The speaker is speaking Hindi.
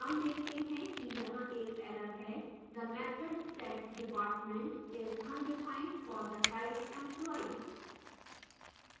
हम देखते हैं कि यहाँ एक error है the method setdepartment string is undefined for the type employee